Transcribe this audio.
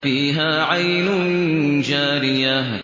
فِيهَا عَيْنٌ جَارِيَةٌ